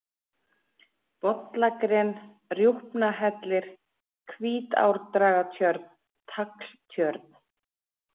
Bollagren, Rjúpnahellir, Hvítárdragatjörn, Tagltjörn